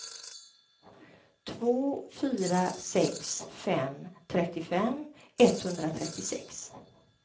två fyra sex fem trettiofem etthundratrettiosex